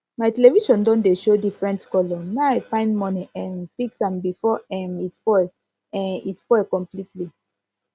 my television don dey show different color my find money um fix am before um e spoil um e spoil completely